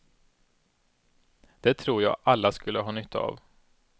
Det tror jag alla skulle ha nytta av.